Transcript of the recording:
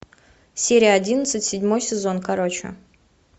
серия одиннадцать седьмой сезон короче